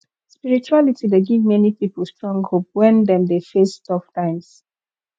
spirituality dey give many pipo strong hope wen dem dey face tough times